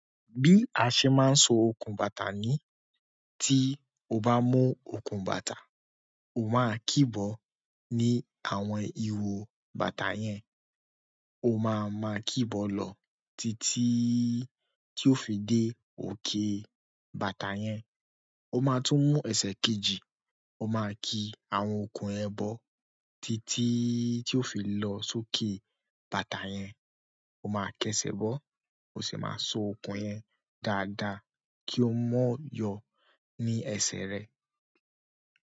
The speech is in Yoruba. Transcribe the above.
Bí a ṣe máa ń so okùn bàtà ni tí o bá mú okùn bàtà, o máa kí bọ̀ ní àwọn ìho bàtà yẹn, o máa ma kí bọ̀ lọ títí tí ó fi dé òkè bàtà yẹn. O máa tún mú ẹsẹ̀ kejì, o máa ki àwọn okùn yẹn bọ títí tí ó fi lọ sókè bàtà yẹn. O máa kesẹ̀ bọ̀, o sì máa so okùn yẹn dáadáa kí ó mọ́ yọ ní ẹsẹ̀ rẹ.